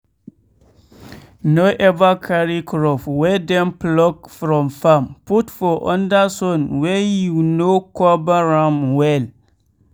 no ever carry crop wey dem pluck from farm put for under sun wey you no cover am well.